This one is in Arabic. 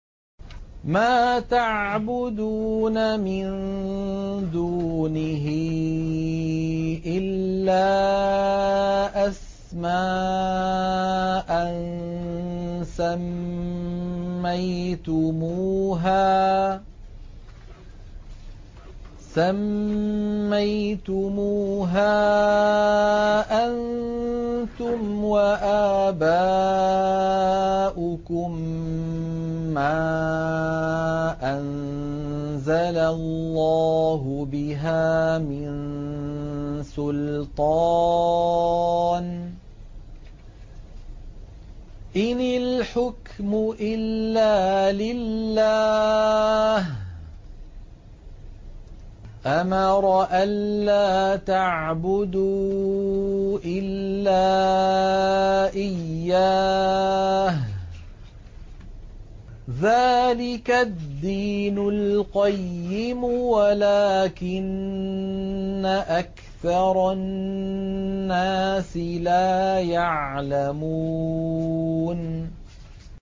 مَا تَعْبُدُونَ مِن دُونِهِ إِلَّا أَسْمَاءً سَمَّيْتُمُوهَا أَنتُمْ وَآبَاؤُكُم مَّا أَنزَلَ اللَّهُ بِهَا مِن سُلْطَانٍ ۚ إِنِ الْحُكْمُ إِلَّا لِلَّهِ ۚ أَمَرَ أَلَّا تَعْبُدُوا إِلَّا إِيَّاهُ ۚ ذَٰلِكَ الدِّينُ الْقَيِّمُ وَلَٰكِنَّ أَكْثَرَ النَّاسِ لَا يَعْلَمُونَ